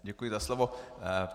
Děkuji za slovo.